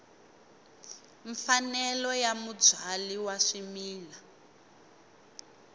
mfanelo ya mubyali wa swimila